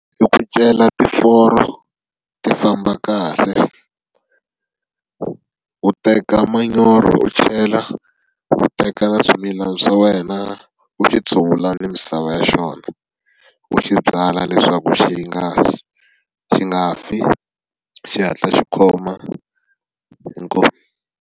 I ku cela tiforo ti famba kahle u teka manyoro u chela, u teka na swimilana swa wena u xi tshuvula ni misava ya xona, u xi byala leswaku xi nga xi nga fi xi hatla xi khoma. Inkomu.